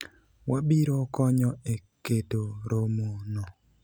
wabiro konyo e keto romo no